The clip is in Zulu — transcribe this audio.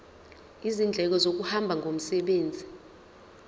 izindleko zokuhamba ngomsebenzi